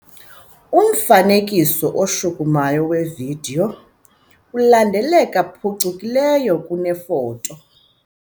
Umfanekiso oshukumayo wevidiyo ulandeleka phucukileyo kunefoto.